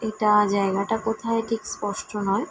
এটা জায়গাটা কোথায় ঠিক স্পষ্ট নয়।